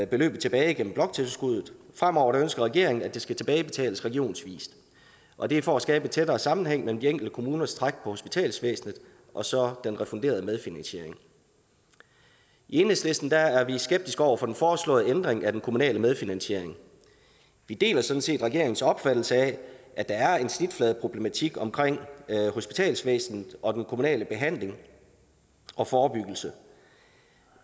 beløbet tilbage igennem bloktilskuddet fremover ønsker regeringen at det skal tilbagebetales regionsvis og det er for at skabe en tættere sammenhæng mellem de enkelte kommuners træk på hospitalsvæsenet og så den refunderede medfinansiering i enhedslisten er er vi skeptiske over for den foreslåede ændring af den kommunale medfinansiering vi deler sådan set regeringens opfattelse af at der er en snitfladeproblematik omkring hospitalsvæsenet og den kommunale behandling og forebyggelse